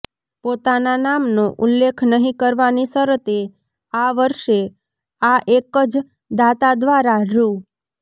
પોતાના નામનો ઉલ્લેખ નહીં કરવાની શરતે આ વર્ષે આ એક જ દાતા દ્વારા રૂા